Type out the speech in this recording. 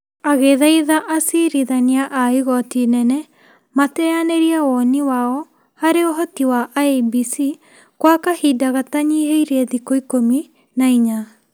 Agĩthaitha acirithania a igoti inene mateanĩrie woni wao harĩ ũhoti wa IEBC kwa kahinda gatanyiheire thikũ ikũmi na inya ,